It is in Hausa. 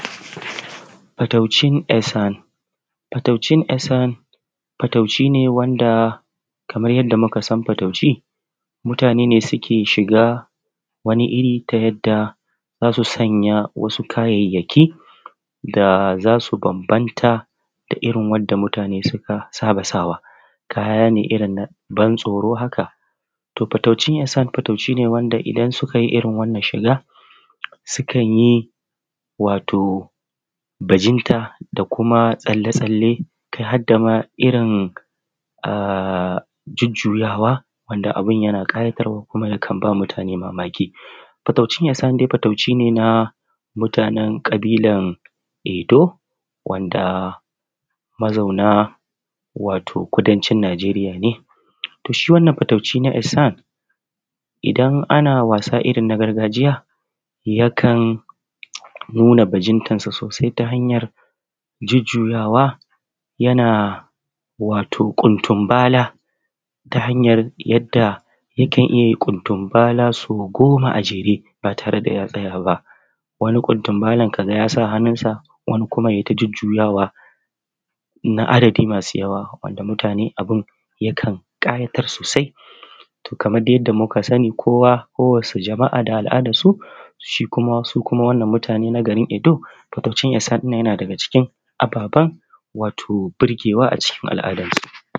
Fatauci esan fataucin esan. Fatauci ne shi ne wanda kaman yadda muka san fatauci mutane ne suke shiga wani iri ta yanda za su sanya wani kayayyaki da za su bambanta da irin wanda mutane suka saba sawa. Kaya ne irin na ban tsoro haka to fataucin esan to fatauci ne wanda in suka yi irin wannan shiga sukan yi wani bajinta da tsalle-tsalle kai har da ma irin a jujjuyawa wanda abun yana ƙayatarwa kuma yakan ba mutane mamaki fataucin esan dai fataucine na mutanen ƙabilan ido wanda mazauna wato kudancin najeriya ne to shi wannan fatauci na esan idan ana wasa irin na gargajiya yakan nuna bajintansu sosai ta hanyan jujjuyawa yana watu ƙundun bala ta hanyar yadda yakan iya yin ƙundun bala so goma a jere ba tare da ya tsayaba wani kuntun balan kaga yasa hannunta wani kuma ya ti ta jujjuyawa na adadi masu yawa wanda mutane abun yaka ƙayata sosai kamar dai yadda muka sani kowa da al’adarta su shi kuma su kma wannan mutane na garin edo fitattun isaniya yana daga ciki na fata wato burgewa a cikin al’adarsu.